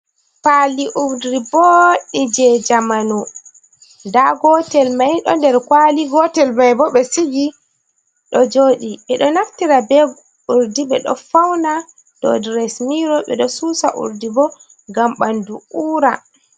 Pali urdi boɗɗi je jamanu. Nda gotel mai ɗo nder kwali, gotel mai bo ɓe sigi ɗo joɗi. Ɓe ɗo naftira be urdi ɓe ɗo fauna. Ɗo dau dresin miro ɓe ɗo susa urdi bo ngam ɓandu ura.